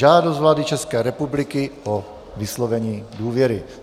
Žádost vlády České republiky o vyslovení důvěry